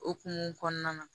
Okumu kɔnɔna na